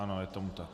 Ano, je tomu tak.